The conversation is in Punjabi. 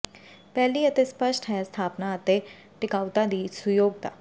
ਪਹਿਲੀ ਅਤੇ ਸਪੱਸ਼ਟ ਹੈ ਸਥਾਪਨਾ ਅਤੇ ਟਿਕਾਊਤਾ ਦੀ ਸੁਯੋਗਤਾ